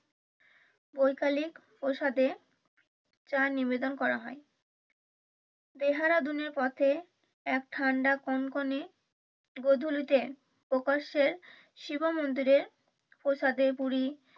বৈকালিক প্রসাদে চা নিবেদন করা হয় পথে এক ঠান্ডা কনকনে গোধূলিতে প্রকাশ্যে শিব মন্দিরে প্রসাদে পুরি